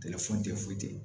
foyi tɛ yen